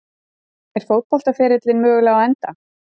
Er fótboltaferillinn mögulega á enda?